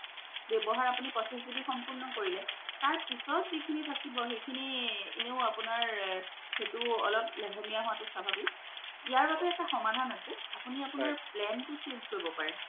ৱ্যাবহাৰ আপুনি পঁচিছ GB সম্পূৰ্ণ কৰিলে তাৰ পিছত জিখিনি থকিব সিখিনি আপুনাৰ অলপ লহেমিয়া হুৱা তু সাভাবিক ইয়াৰ ববে এটা সমাধান আছে আপুনি আপুনাৰ plan তু change কৰিব পাৰে